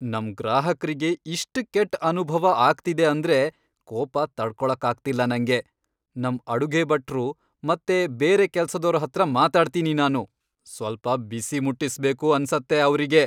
ನಮ್ ಗ್ರಾಹಕ್ರಿಗೆ ಇಷ್ಟ್ ಕೆಟ್ಟ್ ಅನುಭವ ಆಗ್ತಿದೆ ಅಂದ್ರೆ ಕೋಪ ತಡ್ಕೊಳಕ್ಕಾಗ್ತಿಲ್ಲ ನಂಗೆ.. ನಮ್ ಅಡುಗೆಭಟ್ರು ಮತ್ತೆ ಬೇರೆ ಕೆಲ್ಸದೋರ್ಹತ್ರ ಮಾತಾಡ್ತೀನಿ ನಾನು.. ಸ್ವಲ್ಪ ಬಿಸಿ ಮುಟ್ಟಿಸ್ಬೇಕು ಅನ್ಸತ್ತೆ ಅವ್ರಿಗೆ.